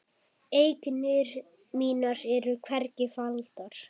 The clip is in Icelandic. Eignir mínar eru hvergi faldar.